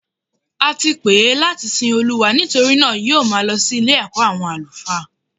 Ati pè é láti sin Olúwa nítorí náà yóò máa lọ sí Ilé ẹ̀kọ́ àwọn àlùfáà